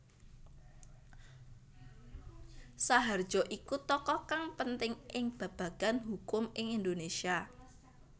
Saharjo iku tokoh kang penting ing babagan hukum ing Indonésia